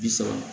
Bi saba